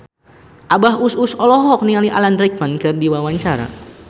Abah Us Us olohok ningali Alan Rickman keur diwawancara